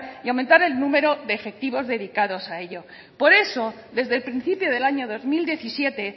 y aumentar el número de efectivos dedicados a ello por eso desde el principio del año dos mil diecisiete